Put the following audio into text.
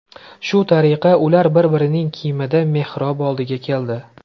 Shu tariqa, ular bir-birining kiyimida mehrob oldiga keldi.